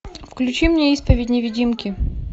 включи мне исповедь невидимки